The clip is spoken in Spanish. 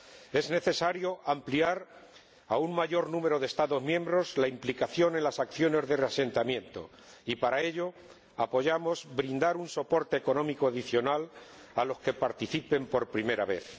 Es necesario que un mayor número de Estados miembros se implique en las acciones de reasentamiento y, para ello, apoyamos brindar un soporte económico adicional a los que participen por primera vez.